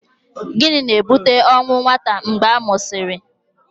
Gịnị na-ebute ọnwụ nwata mgbe a mụsịrị?